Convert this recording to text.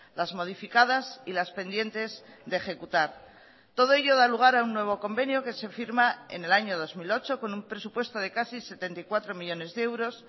las modificadas y las pendientes de ejecutar todo ello da lugar a un nuevo convenio que se firma en el año dos mil ocho con un presupuesto de casi setenta y cuatro millónes de euros